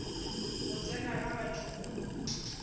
go tsena ga batho go